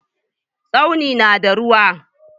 Tsaunin na da ruwa.